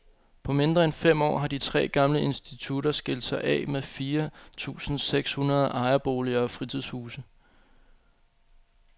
På mindre end fem år har de tre gamle institutter skilt sig af med fire tusinde seks hundrede ejerboliger og fritidshuse.